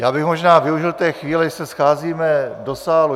Já bych možná využil té chvíle, když se scházíme do sálu.